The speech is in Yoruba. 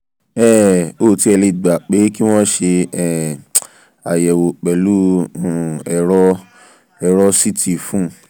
um ó tiẹ̀ lè gba pé kí wọ́n ṣe um ayewo pẹ̀lú um ẹ̀rọ ẹ̀rọ ct fún un